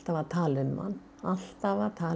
að tala um hann alltaf að tala